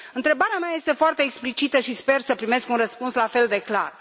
Întrebarea mea este foarte explicită și sper să primesc un răspuns la fel de clar.